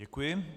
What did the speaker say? Děkuji.